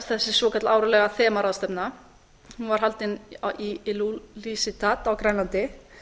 þessi svokallaða þemaráðstefna hún var haldin í ilulissat á grænlandi